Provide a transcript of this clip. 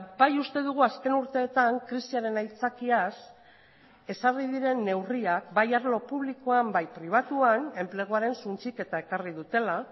bai uste dugu azken urteetan krisiaren aitzakiaz ezarri diren neurriak bai arlo publikoan bai pribatuan enpleguaren suntsiketa ekarri dutela